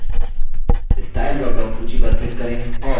style dropdown सूची पर click करें और